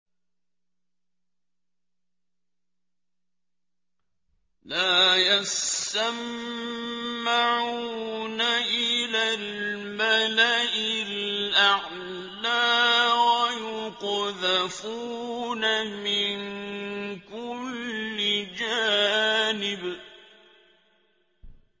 لَّا يَسَّمَّعُونَ إِلَى الْمَلَإِ الْأَعْلَىٰ وَيُقْذَفُونَ مِن كُلِّ جَانِبٍ